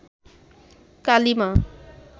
কালি মা